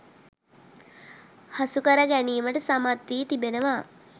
හසු කර ගැනීමටසමත් වී තිබෙනවා.